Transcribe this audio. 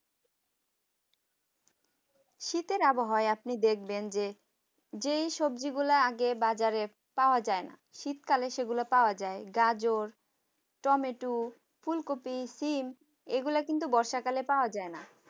শীতের আবহাওয়া আপনি দেখবেন যে যে সবজিগুলো আগে বাজারে পাওয়া যায় না শীতকালে সেগুলো পাওয়া যায় গাজর টমেটো ফুলকপি সিম এগুলো কিন্তু বর্ষাকালে পাওয়া যায় না